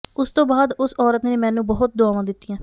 ਉਸ ਤੋਂ ਬਾਅਦ ਉਸ ਔਰਤ ਨੇ ਮੈਨੂੰ ਬਹੁਤ ਦੁਆਵਾਂ ਦਿੱਤੀਆਂ